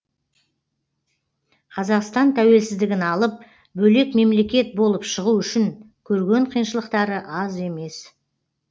қазақстан тәуелсіздігін алып бөлек мемлекет болып шығу үшін көрген қиыншылықтары аз емес